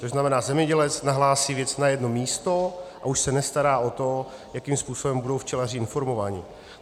To znamená, zemědělec nahlásí věc na jedno místo a už se nestará o to, jakým způsobem budou včelaři informováni.